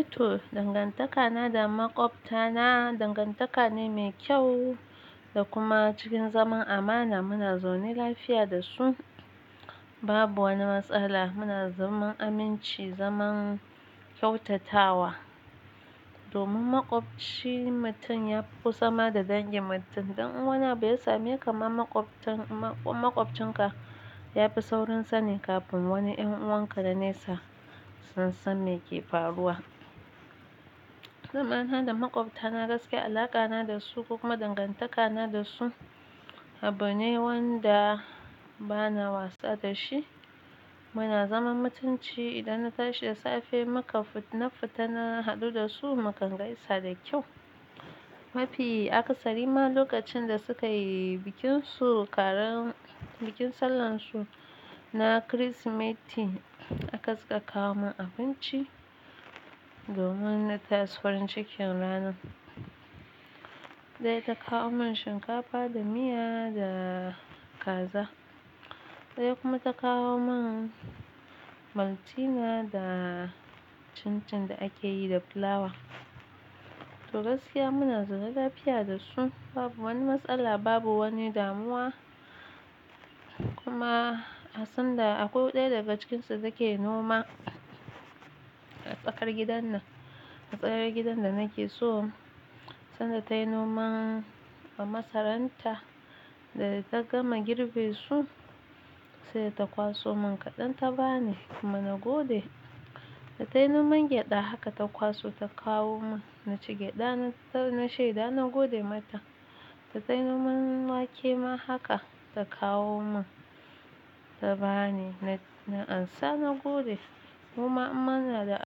Ito dangantakana da maƙwabtana dangantaka ne mai kyau da kuma cikin zaman amana muna zaune lafiya da su babu wani matsala muna zaman aminci zaman kyautatawa. Domin maƙwabcin mutum ya fi sama da dangin mutum, ɗan uwana bai same kamar maƙwabcin ka yafi saurin sani kafin wani ƴan uwanka da nesa. Su san me ke faruwa. Zamana da maƙwabta na gaske alaƙa na da su kuma dangantaka na da su abu ne wanda bana wasa da shi. Muna zaman mutunci idan na tashi da safe muka fita na haɗu da su mukan gaisa da kyau. Mafi akasari ma lokacin da suka yi bikin su karan bikin sallan su na kiristimeti aka saka kawo min abinci domin na tashi farin cikin ranan. Ɗaya ta kawo min shinkafa da miya da kaza. Ɗaya kuma ta kawo min maltina da chin chin da akeyi da fulawa. To gaskiya muna zaune lafiya da su babu wani matsala babu wani damuwa kuma sanda akwai ɗaya daga cikinsu take noma a tsakar gidan nan a tsayar gidan da nake so sanda tayi noman a masaranta da ta gama girbe su sai ta kwaso min kaɗan ta bani kuma na gode. Da tayi noman gyaɗa haka ta kwaso ta kawo min na ci gyaɗa na shaida na gode mata. Da tayi noman wake ma haka ta kawo min ta bani na ansa na gode. Kuma muna da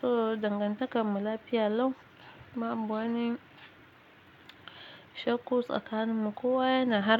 So dangantakar mu lafiya lau ba abu wani shakkos a sakanimu kowa yana harbi.